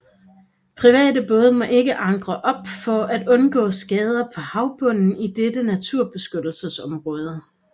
Private både må ikke ankre op for at undgå skader på havbunden i dette naturbeskyttelsesområde